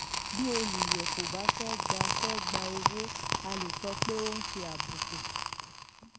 bí olùyọ kò bá fẹ gba fẹ gba owó a lè sọ pé ó ṣe àbùkù.